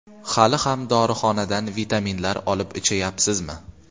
Hali ham dorixonadan vitaminlar olib ichayapsizmi?